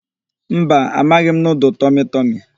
Mba, amaghị m nudul tọmịtọmị.